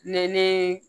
Ne ni